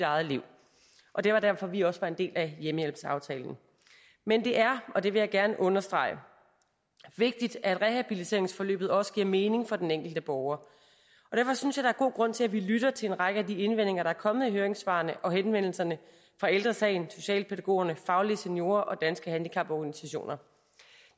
eget liv og det var derfor vi også var en del af hjemmehjælpsaftalen men det er og det vil jeg gerne understrege vigtigt at rehabiliteringsforløbet også giver mening for den enkelte borger og derfor synes jeg der er god grund til at vi lytter til en række af de indvendinger der er kommet i høringssvarene og henvendelserne fra ældre sagen socialpædagogerne faglige seniorer og danske handicaporganisationer